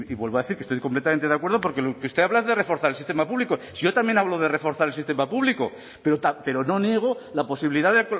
vuelvo a decir que estoy completamente de acuerdo porque lo que usted habla es de reforzar el sistema público si yo también hablo de reforzar el sistema público pero no niego la posibilidad de